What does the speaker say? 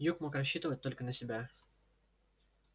юг мог рассчитывать только на себя